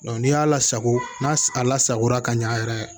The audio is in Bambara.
n'i y'a lasago n'a lasagora ka ɲɛ yɛrɛ yɛrɛ